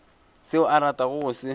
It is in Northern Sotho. seo a ratago go se